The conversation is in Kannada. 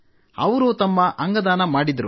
ಅವರು ತಮ್ಮ ಅಂಗದಾನ ಮಾಡಿದ್ದರು